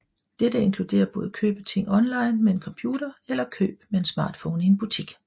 Dette inkluderer både køb af ting online med en computer eller køb med en smartphone i en butik